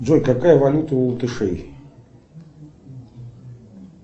джой какая валюта у латышей